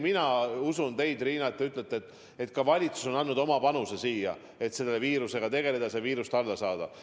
No ma usun, et teie, Riina, ütlete ka, et valitsus on selles mõttes andnud oma panuse, et selle viirusega tegeleda, seda maha suruda.